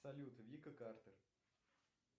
салют вика картер